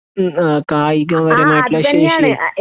ഉം ആ കായിക പരമായിട്ട്ള്ള ശേഷി